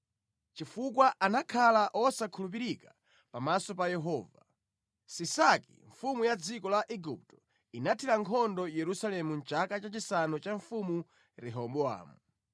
Chifukwa anakhala osakhulupirika pamaso pa Yehova, Sisaki mfumu ya dziko la Igupto inathira nkhondo Yerusalemu mʼchaka chachisanu cha mfumu Rehobowamu.